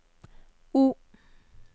O